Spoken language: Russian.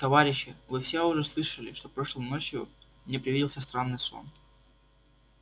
товарищи вы все уже слышали что прошлой ночью мне привиделся странный сон